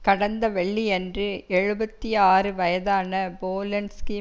கடந்த வெள்ளியன்று எழுபத்தி ஆறு வயதான போலன்ஸ்கி